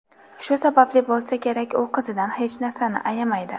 Shu sababli bo‘lsa kerak, u qizidan hech narsani ayamaydi.